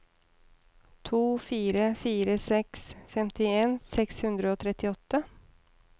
to fire fire seks femtien seks hundre og trettiåtte